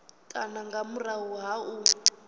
kana nga murahu ha u